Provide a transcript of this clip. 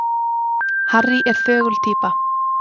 Harry er þögul týpa.